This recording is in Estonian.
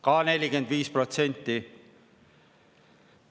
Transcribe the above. Ka 45%.